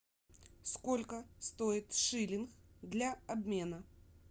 сколько стоит шиллинг для обмена